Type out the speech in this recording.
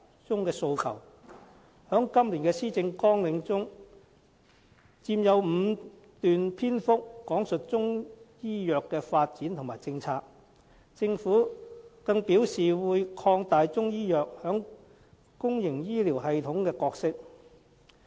在今年的施政綱領中，有5段篇幅講述中醫藥的發展和政策，政府更表示會擴大中醫藥在公營醫療系統的角色。